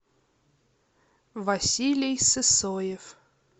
василий сысоев